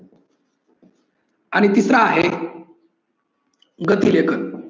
आणि तिसर आहे गती लेखन.